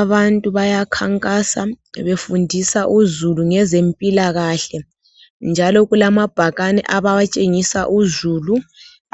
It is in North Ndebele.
Abantu ayakhankasa befundisa uzulu ngezempilakahle njalo kulamabhakane abawatshengisa uzulu